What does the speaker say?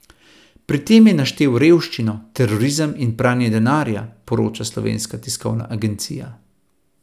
Pri tem je naštel revščino, terorizem in pranje denarja, poroča Slovenska tiskovna agencija.